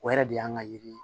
O yɛrɛ de y'an ka yiri ye